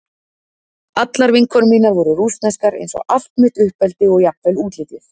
Allar vinkonur mínar voru rússneskar eins og allt mitt uppeldi og jafnvel útlitið.